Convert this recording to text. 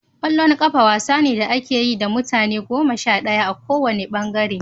Ƙwallon ƙafa wasa ne da ake yi da mutum goma sha ɗaya a ko wanne ɓangare.